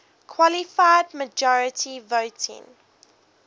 qualified majority voting